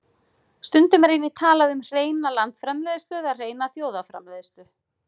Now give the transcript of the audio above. Stundum er einnig talað um hreina landsframleiðslu eða hreina þjóðarframleiðslu.